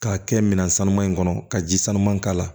K'a kɛ minan sanuman in kɔnɔ ka ji sanuman k'a la